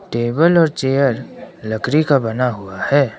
Table और chair लकड़ी का बना हुआ है।